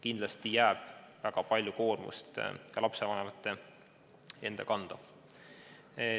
Kindlasti jääb väga palju koormust ka lapsevanemate enda kanda.